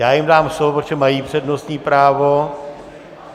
Já jim dám slovo, protože mají přednostní právo.